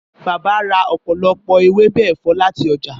Bàbá ra ọ̀pọ̀lọpọ̀ ewébè ẹ̀fọ́ láti ọjà.